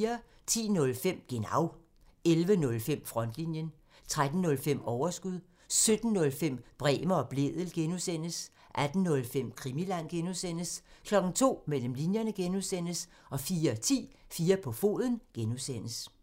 10:05: Genau (tir) 11:05: Frontlinjen (tir) 13:05: Overskud (tir) 17:05: Bremer og Blædel (G) (tir) 18:05: Krimiland (G) (tir) 02:00: Mellem linjerne (G) (tir) 04:10: 4 på foden (G) (tir)